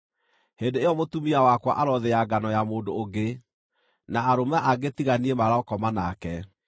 hĩndĩ ĩyo mũtumia wakwa arothĩa ngano ya mũndũ ũngĩ, na arũme angĩ tiga niĩ marokoma nake.